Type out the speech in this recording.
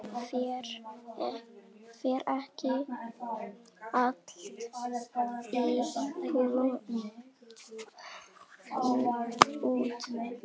Fer ekki allt í hnút?